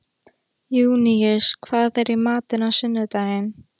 Júníus, hvað er í matinn á sunnudaginn?